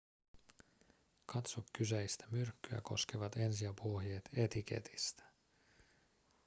katso kyseistä myrkkyä koskevat ensiapuohjeet etiketistä